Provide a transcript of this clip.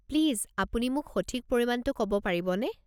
Please আপুনি মোক সঠিক পৰিমাণটো ক'ব পাৰিবনে?